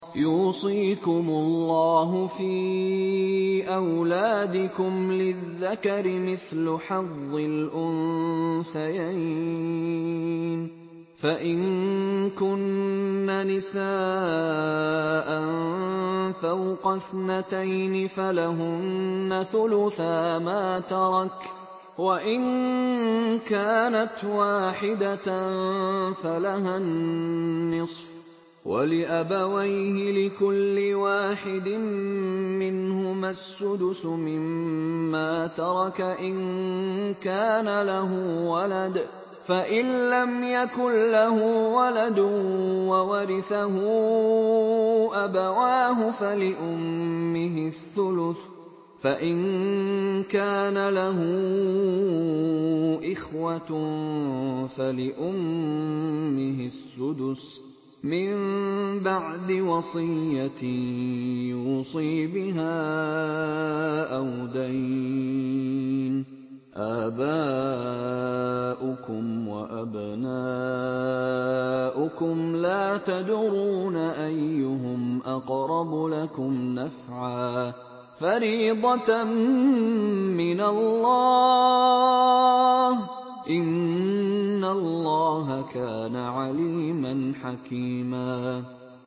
يُوصِيكُمُ اللَّهُ فِي أَوْلَادِكُمْ ۖ لِلذَّكَرِ مِثْلُ حَظِّ الْأُنثَيَيْنِ ۚ فَإِن كُنَّ نِسَاءً فَوْقَ اثْنَتَيْنِ فَلَهُنَّ ثُلُثَا مَا تَرَكَ ۖ وَإِن كَانَتْ وَاحِدَةً فَلَهَا النِّصْفُ ۚ وَلِأَبَوَيْهِ لِكُلِّ وَاحِدٍ مِّنْهُمَا السُّدُسُ مِمَّا تَرَكَ إِن كَانَ لَهُ وَلَدٌ ۚ فَإِن لَّمْ يَكُن لَّهُ وَلَدٌ وَوَرِثَهُ أَبَوَاهُ فَلِأُمِّهِ الثُّلُثُ ۚ فَإِن كَانَ لَهُ إِخْوَةٌ فَلِأُمِّهِ السُّدُسُ ۚ مِن بَعْدِ وَصِيَّةٍ يُوصِي بِهَا أَوْ دَيْنٍ ۗ آبَاؤُكُمْ وَأَبْنَاؤُكُمْ لَا تَدْرُونَ أَيُّهُمْ أَقْرَبُ لَكُمْ نَفْعًا ۚ فَرِيضَةً مِّنَ اللَّهِ ۗ إِنَّ اللَّهَ كَانَ عَلِيمًا حَكِيمًا